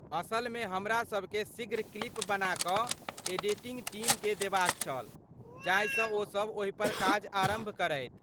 असलमे हमरासभ केँ शीघ्र क्लिप बना कऽ एडिटिंग टीमकेँ देबाक छल जाहिसँ ओ सभ ओहिपर काज आरम्भ करथि।